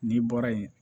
N'i bɔra yen